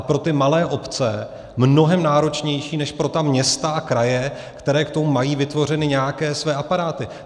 A pro ty malé obce mnohem náročnější než pro města a kraje, které k tomu mají vytvořeny nějaké své aparáty.